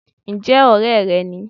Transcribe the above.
N jẹ́ òré re ni